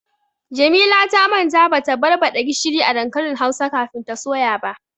Jamila ta manta bata barbaɗa gishiri a dankalin hausa kafin ta soya ba.